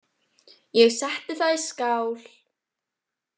Ég setti það í skál.